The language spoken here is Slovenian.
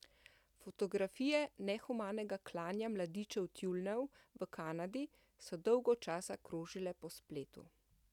Fotografije nehumanega klanja mladičev tjulnjev v Kanadi so dolgo časa krožile po spletu.